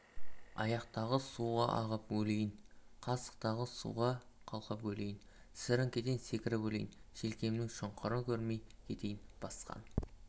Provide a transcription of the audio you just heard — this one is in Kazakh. аяқтағы суға ағып өлейін қасықтағы суға қалқып өлейін сіреңкеден секіріп өлейін желкемнің шұңқырын көрмей кетейін басқан